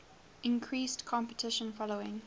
increased competition following